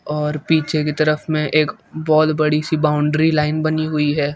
और पीछे की तरफ में एक बहुत बड़ी सी बॉउंड्री लाइन बनी हुई है।